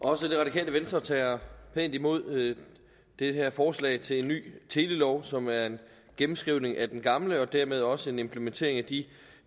også det radikale venstre tager pænt imod det her forslag til en ny telelov som er en gennemskrivning af den gamle og dermed også en implementering af de